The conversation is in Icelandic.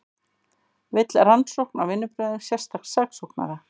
Vill rannsókn á vinnubrögðum sérstaks saksóknara